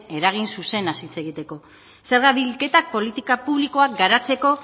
eragin zuzena hitz egiteko zerga bilketak politika publikoak garatzeko